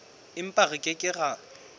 empa re ke ke ra